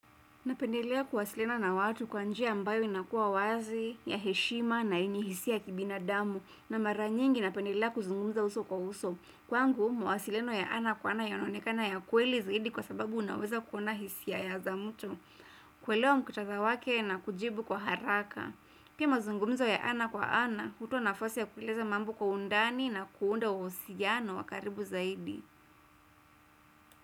Napendelea kuwasiliana na watu kwa njia ambayo inakua wazi, ya heshima na yenye hisia ya kibinadamu na mara nyingi napendelea kuzungumza uso kwa uso. Kwangu, mawasiliano ya ana kwa ana yanaonekana ya kweli zaidi kwa sababu, unaweza kuona hisia ya za mtu. Kuelewa mkutadha wake na kujibu kwa haraka. Pia, mazungumzo ya ana kwa ana, hutoa nafasi ya kueleza mambo kwa undani na kuundo wosiano wa karibu zaidi.